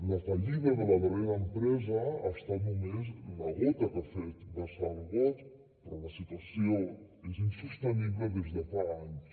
la fallida de la darrera empresa ha estat només la gota que ha fet vessar el got però la situació és insostenible des de fa anys